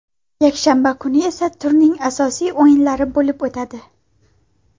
Yakshanba kuni esa turning asosiy o‘yinlari bo‘lib o‘tadi.